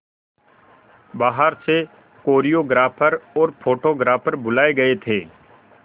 बाहर से कोरियोग्राफर और फोटोग्राफर बुलाए गए थे